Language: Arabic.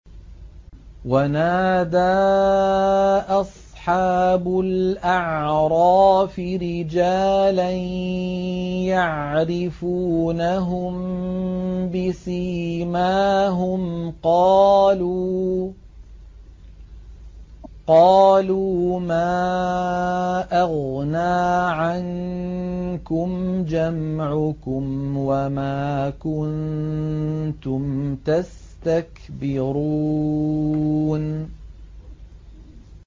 وَنَادَىٰ أَصْحَابُ الْأَعْرَافِ رِجَالًا يَعْرِفُونَهُم بِسِيمَاهُمْ قَالُوا مَا أَغْنَىٰ عَنكُمْ جَمْعُكُمْ وَمَا كُنتُمْ تَسْتَكْبِرُونَ